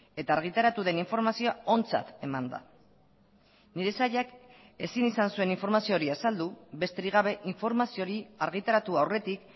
eta argitaratu den informazioa ontzat eman da nire sailak ezin izan zuen informazio hori azaldu besterik gabe informazio hori argitaratu aurretik